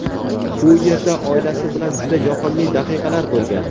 u yerda oilasi bilan juda yoqimli daqiqalar bo‘lgan.